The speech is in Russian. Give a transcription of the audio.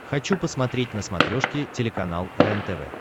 хочу посмотреть на смотрешке телеканал рентв